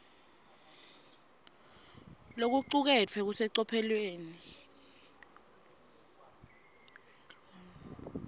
lokucuketfwe kusecophelweni